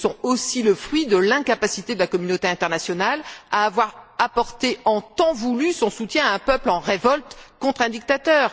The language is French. risques sont aussi le fruit de l'incapacité de la communauté internationale à avoir apporté, en temps voulu, son soutien à un peuple en révolte contre un dictateur.